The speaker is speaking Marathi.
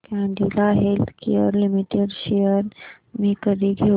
कॅडीला हेल्थकेयर लिमिटेड शेअर्स मी कधी घेऊ